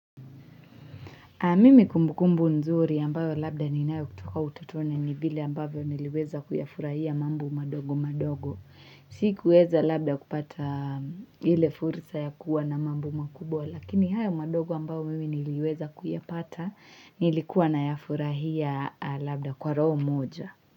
Mimi kumbukumbu nzuri ambayo labda ninayo kutoka utotoni ni vile ambavyo niliweza kuyafurahia mambo madogo madogo. Sikuweza labda kupata ile fursa ya kuwa na mambo makubwa lakini haya madogo ambayo mimi niliweza kuyapata nilikuwa na yafurahia labda kwa roho moja.